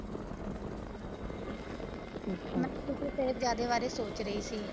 ਮਤਲਬ ਤੁਸੀਂ ਸ਼ਾਹਿਬਜਾਦੇ ਬਾਰੇ ਸੋਚ ਰਹੀ ਸੀ